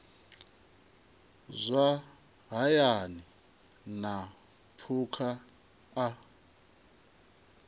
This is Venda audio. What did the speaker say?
zwa hayani na phukha a